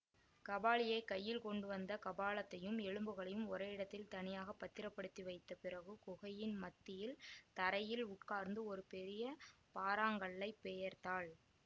காபாலியை கையில் கொண்டுவந்த கபாலத்தையும் எலும்புகளையும் ஓரிடத்தில் தனியாகப் பத்திரப்படுத்தி வைத்த பிறகு குகையின் மத்தியில் தரையில் உட்கார்ந்து ஒரு பெரிய பாறாங்கல்லைப் பெயர்த்தாள்